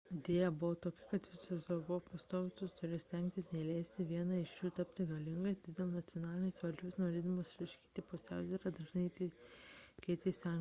idėja buvo tokia kad visos europos tautos turėjo stengtis neleisti vienai iš jų tapti galingai todėl nacionalinės valdžios norėdamos išlaikyti pusiausvyrą dažnai keitė sąjungininkus